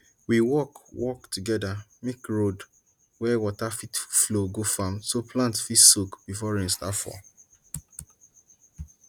we work work together make road wey water fit flow go farm so plants fit soak before rain start fall